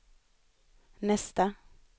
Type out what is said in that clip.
nästa